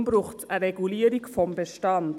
Deshalb braucht es eine Regulierung des Bestands.